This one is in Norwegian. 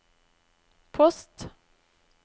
post